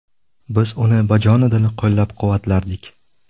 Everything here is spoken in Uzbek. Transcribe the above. Biz uni bajonidil qo‘llab-quvvatlardik.